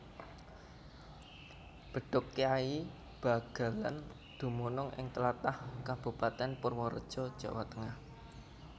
Bedhug Kyai Bagelén dumunung ing tlatah Kabupatèn Purwareja Jawa Tengah